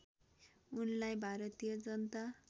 उनलाई भारतीय जनता